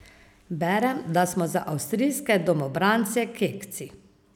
Berem, da smo za avstrijske domobrance kekci.